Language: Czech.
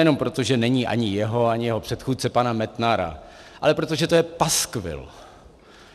Nejenom proto, že není ani jeho, ani jeho předchůdce pana Metnara, ale proto, že to je paskvil.